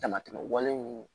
Damatɛmɛ wale ninnu